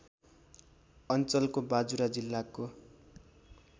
अञ्चलको बाजुरा जिल्लाको